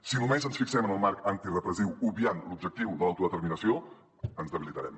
si només ens fixem en el marc antirepressiu obviant l’objectiu de l’autodeterminació ens debilitarem